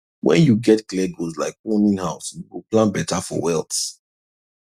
when you get clear goals like owning house you go plan better for wealth